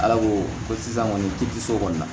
Ala ko ko sisan kɔni k'i tɛ se o kɔni na